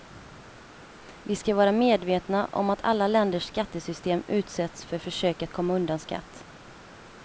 Vi ska vara medvetna om att alla länders skattesystem utsätts för försök att komma undan skatt.